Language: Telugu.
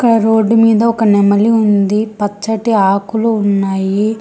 రోడ్డు మీద ఒక నెమలి ఉంది పచ్చటి ఆకులు ఉన్నాయి.